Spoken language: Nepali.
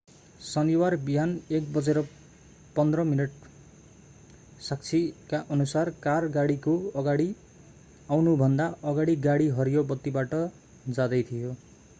शनिबार बिहान 1:15 बजे साक्षीकाअनुसार कार गाडीको अगाडि आउनुभन्दा अगाडि गाडी हरियो बत्तीबाट जाँदै थियो